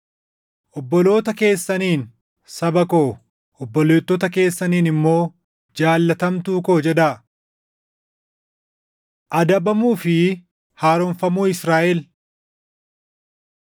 “Obboloota keessaniin, ‘Saba koo’ obboleettota keessaniin immoo, ‘Jaallatamtuu koo’ jedhaa. Adabamuu fi Haaromfamuu Israaʼel